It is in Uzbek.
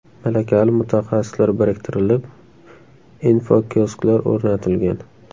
Malakali mutaxassislar biriktirilib, infokiosklar o‘rnatilgan.